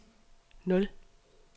nul